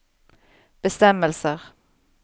bestemmelser